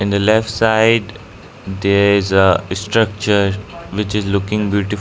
the left side there is a structure which is looking beautiful.